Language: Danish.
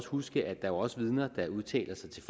huske at der også er vidner der udtaler sig til